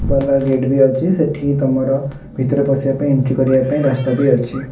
ଭଲ ଗେଟ ବି ଅଛି ସେଠି ତମର ଭିତରେ ପଶିବାପାଇଁ ଏଣ୍ଟ୍ରି କରିବା ପାଇଁ ରାସ୍ତା ବି ଅଛି।